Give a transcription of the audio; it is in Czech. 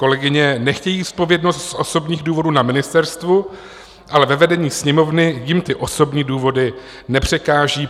Kolegyně nechtějí zodpovědnost z osobních důvodů na ministerstvu, ale ve vedení Sněmovny jim ty osobní důvody nepřekáží.